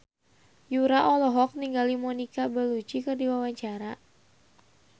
Yura olohok ningali Monica Belluci keur diwawancara